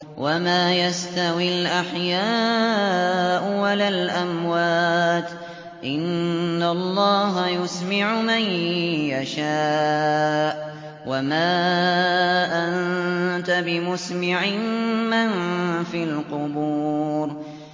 وَمَا يَسْتَوِي الْأَحْيَاءُ وَلَا الْأَمْوَاتُ ۚ إِنَّ اللَّهَ يُسْمِعُ مَن يَشَاءُ ۖ وَمَا أَنتَ بِمُسْمِعٍ مَّن فِي الْقُبُورِ